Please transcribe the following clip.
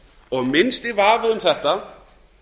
og minnsti vafi um þetta